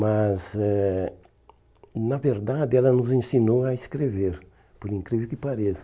Mas, eh na verdade, ela nos ensinou a escrever, por incrível que pareça.